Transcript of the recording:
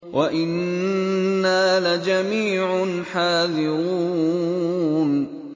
وَإِنَّا لَجَمِيعٌ حَاذِرُونَ